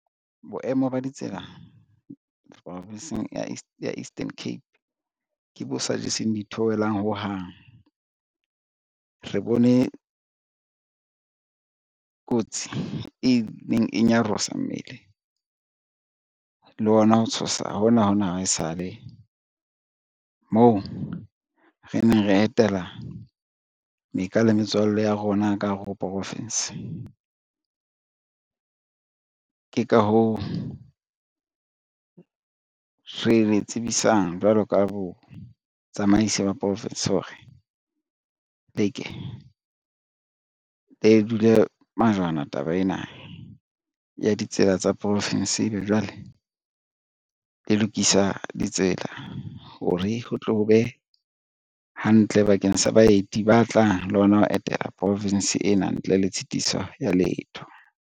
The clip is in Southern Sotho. Boemo ba ditsela province-ng ya Eastern Cape ke bo sa jeseng ditheohelang hohang. Re bone kotsi e neng e nyarosa mmele le hona ho tshosa hona hona hwa e sale moo re neng re etela meka le metswalle ya rona ka hare ho profinsi. Ke ka hoo re le tsebisang jwalo ka botsamaisi ba province ho re le ke le dule majwana taba ena ya ditsela tsa province ebe jwale, le lokisa ditsela hore ho tle ho be hantle bakeng sa baeti ba tlang le hona ho etela province ena ntle le tshitiso ya letho.